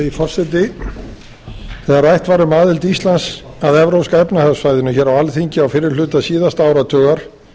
virðulegi forseti þegar rætt var um aðild íslands að evrópska efnahagssvæðinu hér á alþingi á fyrri hluta síðasta áratugar